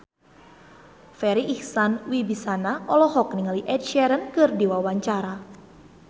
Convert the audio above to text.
Farri Icksan Wibisana olohok ningali Ed Sheeran keur diwawancara